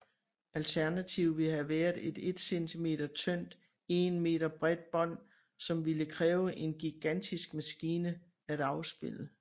Alternativet ville have været et 1 cm tyndt 1 meter bredt bånd som ville kræve en gigantisk maskine at afspille